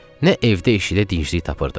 nə evdə işıqda dincəlik tapırdı.